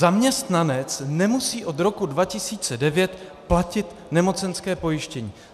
Zaměstnanec nemusí od roku 2009 platit nemocenské pojištění.